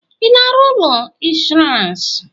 ị na-arụ ụlọ ọrụ ịnshọọransị?